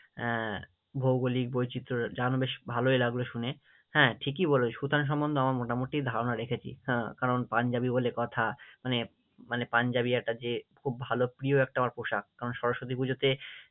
আহ ভৌগোলিক বৈচিত্র্য জানো বেশ ভালোই লাগলো শুনে, হ্যাঁ ঠিকই বলেছো সুথানা সম্মন্ধে আমার মোটামুটি ধারণা রেখেছি, হ্যাঁ, কারণ পাঞ্জাবি বলে কথা মানে মানে পাঞ্জাবি একটা যে খুব ভালো প্রিয় একটা আমার পোশাক সরস্বতী পুজোতে